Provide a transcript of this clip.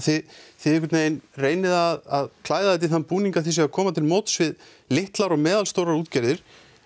þið þið reynið að klæða þetta í þann búning að þið séuð að koma til móts við litlar og meðalstórar útgerðir